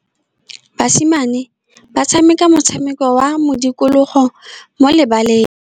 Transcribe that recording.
Basimane ba tshameka motshameko wa modikologô mo lebaleng.